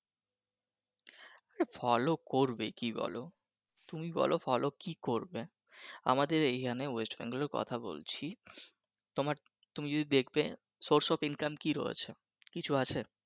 follow করবে কি বলো তুমি বলো কি follow কি করবে, আমাদের এইখানে ওয়েস্ট বেঙ্গলের কথা বলছি তোমার তুমি যদি দেখবে source of income কি রয়েছে কিছু আছে